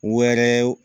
Wɛrɛw